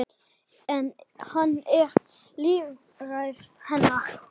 En hann er lífæð hennar.